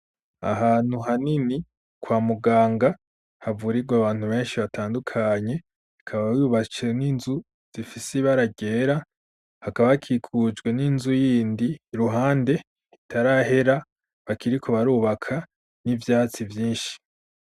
Ahantu hanini kwa muganga havurirwe abantu benshi batandukanye ikaba yubase n'inzu zifise ibara ryera hakaba akikujwe n'inzu y'indi iruhande itarahera bakiriko barubaka n'ivyatsi vyinshi.